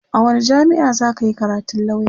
a wani jamia'a zaka Yi karatun lauya?